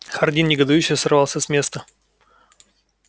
хардин негодующе сорвался с места